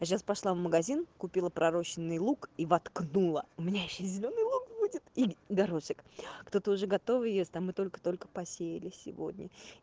а сейчас пошла в магазин купила пророщенный лук и воткнула у меня ещё зелёный лук будет и горошек кто-то уже готовый ест а мы только-только посеяли сегодня